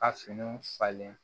A finiw falen